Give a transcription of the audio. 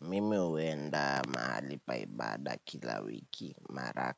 Mimi huenda mahali pa ibada kila wiki mara